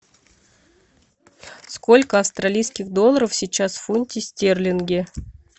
сколько австралийских долларов сейчас в фунте стерлинге